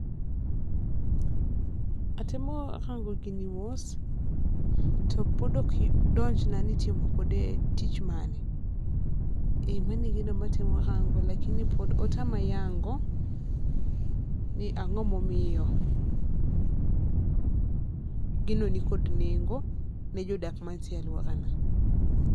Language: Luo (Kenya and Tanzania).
Atemo rango gi ni mos to pod ok donjna ni itimo kode tich mane pod otama yango ni ang'o ma omiyo gino ni kod nengo ne jodak ma nitiere aluora na.